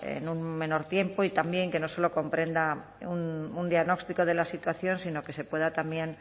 en un menor tiempo y también que no solo comprenda un diagnóstico de la situación sino que se pueda también